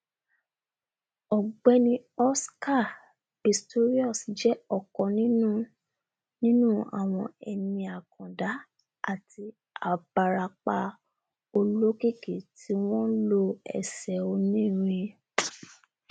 ọgbẹni oscar pistorius jẹ ọkan nínú nínú àwọn eni àkàndá àti um abarapa olókìkí tí wọn um nlo ẹsẹ onírin